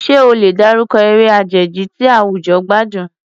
Ṣé o lè dárúkọ eré àjèjì tí àwùjọ gbádùn?